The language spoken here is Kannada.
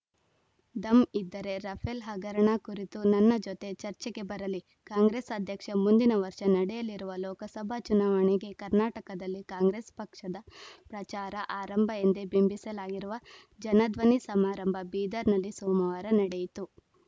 ದಮ್‌ ಇದ್ದರೆ ರಫೇಲ್‌ ಹಗರಣ ಕುರಿತು ನನ್ನ ಜೊತೆ ಚರ್ಚೆಗೆ ಬರಲಿ ಕಾಂಗ್ರೆಸ್‌ ಅಧ್ಯಕ್ಷ ಮುಂದಿನ ವರ್ಷ ನಡೆಯಲಿರುವ ಲೋಕಸಭಾ ಚುನಾವಣೆಗೆ ಕರ್ನಾಟಕದಲ್ಲಿ ಕಾಂಗ್ರೆಸ್‌ ಪಕ್ಷದ ಪ್ರಚಾರ ಆರಂಭ ಎಂದೇ ಬಿಂಬಿಸಲಾಗಿರುವ ಜನಧ್ವನಿ ಸಮಾರಂಭ ಬೀದರ್‌ನಲ್ಲಿ ಸೋಮವಾರ ನಡೆಯಿತು